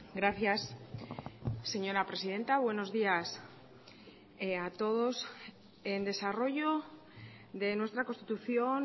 gracias señora presidenta buenos días a todos en desarrollo de nuestra constitución